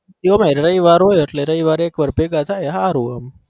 કયો ભાઈ એમાં રવિવાર હોય એક વાર ભેગા થાય હારું આમ